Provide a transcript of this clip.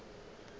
go se go ye kae